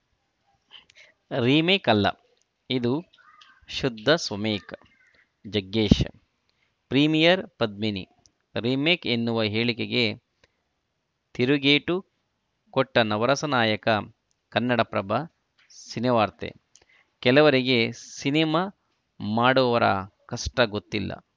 remake ಅಲ್ಲ ಇದು ಶುದ್ಧ ಸ್ವಮೇಕ್‌ ಜಗ್ಗೇಶ್‌ ಪ್ರೀಮಿಯರ್‌ ಪದ್ಮಿನಿ ರಿಮೇಕ್‌ ಎನ್ನುವ ಹೇಳಿಕೆಗೆ ತಿರುಗೇಟು ಕೊಟ್ಟನವರಸ ನಾಯಕ ಕನ್ನಡ ಪ್ರಭ ಸಿನಿವಾರ್ತೆ ಕೆಲವರಿಗೆ ಸಿನಿಮಾ ಮಾಡುವವರ ಕಷ್ಟಗೊತ್ತಿಲ್ಲ